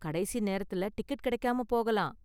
கடைசி நேரத்துல டிக்கெட் கிடைக்காம போகலாம்.